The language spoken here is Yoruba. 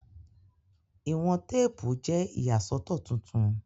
Iwọn teepu jẹ iyasọtọ tuntun